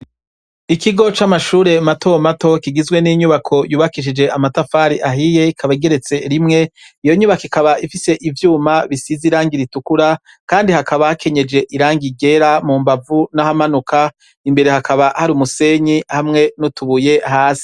Ikigo c'amashure matomato kigizwe n'inyubako yubakishije amatafari ahiye ikaba igeretse rimwe iyo nyubaka ikaba ifise ivyuma bisize irangi ritukura kandi hakaba hakenyeje irangi igera mu mbavu n'ahamanuka imbere hakaba hari umusenyi hamwe n'utubuye hasi.